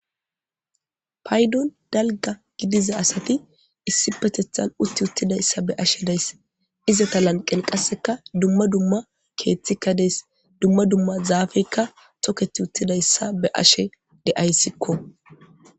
paydon dalga gidiza asati issi petethan utti uttidayssa be ashe daysse izata lanqen qasseka dumma dumma keeththikka dees dumma dumma zaafeykka toketi uttidayssa be ashe de7ayssikko